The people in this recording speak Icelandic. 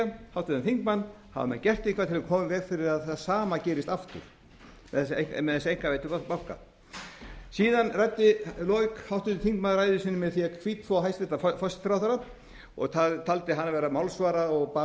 hafa menn gert eitthvað til að koma í veg fyrir að það sama gerist aftur með þessa einkavæddu banka síðan lauk háttvirtur þingmaður ræðu sinni með því að hvítþvo hæstvirtur forsætisráðherra og taldi hana vera málsvara og